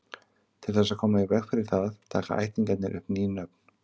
Til þess að koma í veg fyrir það taka ættingjarnir upp ný nöfn.